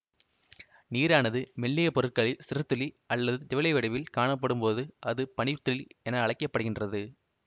நீரானது மெல்லிய பொருட்களில் சிறுதுளி அல்லது திவலை வடிவில் காணப்படும்போது அது பனி துளி என அழைக்க படுகின்றது